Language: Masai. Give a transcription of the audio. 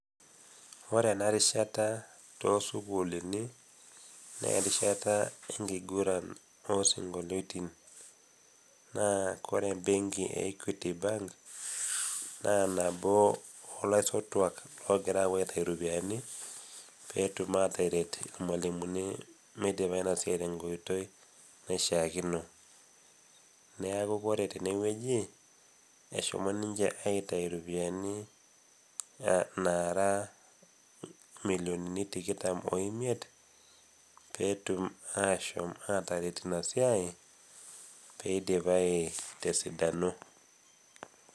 Ore ena rishata too isukulini, naa erishata enkiguran oo isinkoliotin. Naa ore embenki e equity bank naa naboo olaisotuak ogira apuo aitayu iropiani pee etum ataret ilmwalimuni meidipa ena siai te nkoitoi naishakino. Neaku Kore tene wueji eshomo ninche aitayu iropiani naraa milionini nara tikitam o imiet, pee etum ashomo ataret Ina siai pee eidipai te esidano.